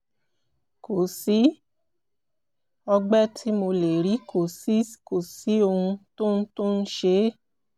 kò sí ọgbẹ́ tí mo lè rí kò sí ohun tó ń tó ń ṣe é